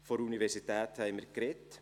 Von der Universität haben wir gesprochen;